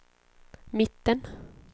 mitten